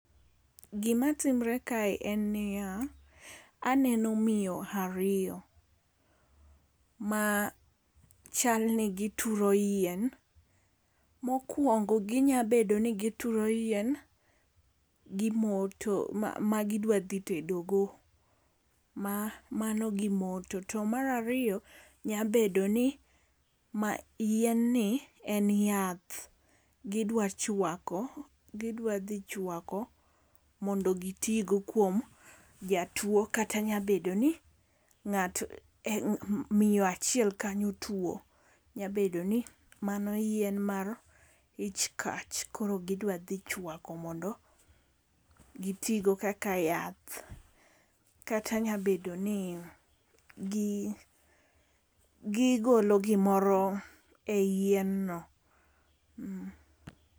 Gima timre kae en niya, aneno miyo ariyo. Ma chal ni gituro yien. Mokwongo ginyabedo ni gituro yien gi moto ma gidwa dhi tedogo. Mano gimoto. To mar ariyo nyabedo ni yien ni en yath gidwa chwako gidwa dhi chwako mondo gitigo kuom jatuo kata nyabedo ni ngato miyo achiel kanyo tuo. Nyabedo ni mano yien mar ich kach koro gidwa dhi chwako mondo gitigo kaka yath. Kata nya bedo ni gigolo gimoro e yien no.